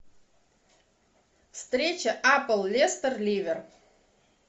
встреча апл лестер ливер